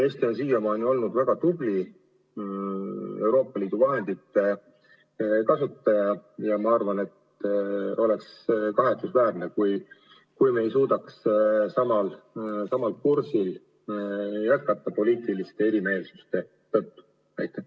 Eesti on siiani olnud väga tubli Euroopa Liidu vahendite kasutaja ja ma arvan, et oleks kahetsusväärne, kui me ei suudaks poliitiliste erimeelsuste tõttu samal kursil jätkata.